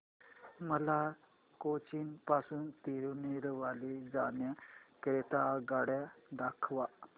मला कोचीन पासून तिरूनेलवेली जाण्या करीता आगगाड्या दाखवा